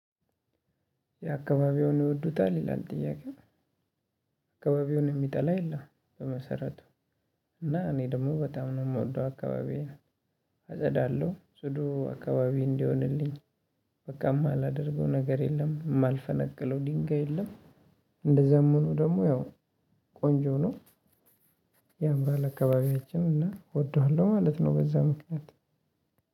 የአካባቢዎን ይወዱታል ይላል ጥያቄው አካባቢውን የሚጠላ የለም። በመሰረቱ እና እኔ ደግሞ በጣም ነው የምወደው አካባቢዬ። አጸዳለሁ ጽዱ አካባቢ እንዲሆንልኝ በቃ የማላደርገው ነገር የለም የማልፈነቅለው ድንጋይ የለም። እንደዛም ሆኖ ደግሞ ያው ቆንጆ ነው። ያምራል አካባቢያችን እና እወደዋለሁ ማለት ነው። በዛ ምክንያት